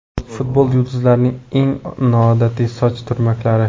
Futbol yulduzlarining eng noodatiy soch turmaklari .